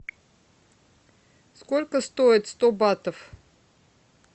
сколько стоит сто батов